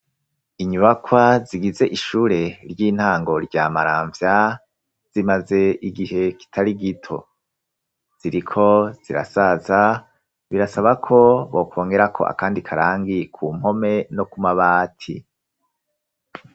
Inyubakwa zigize ishure ry'intango rya Maramvya, zimaze igihe kitari gito, ziriko zirasaza, birasaba ko bokongerako akandi karangi ku mpome no kumabati.